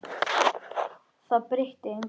Það breytti engu.